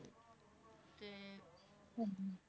ਹਾਂਜੀ ।